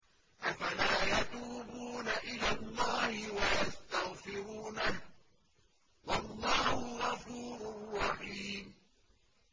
أَفَلَا يَتُوبُونَ إِلَى اللَّهِ وَيَسْتَغْفِرُونَهُ ۚ وَاللَّهُ غَفُورٌ رَّحِيمٌ